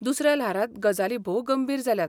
दुसऱ्या ल्हारांत गजाली भोव गंभीर जाल्यात.